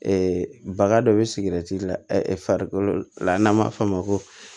baga dɔ bɛ sigɛrɛti la farikolo la n'an b'a fɔ o ma ko